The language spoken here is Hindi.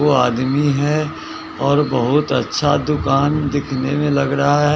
ओ आदमी है और बहुत अच्छा दुकान दिखने में लग रहा है।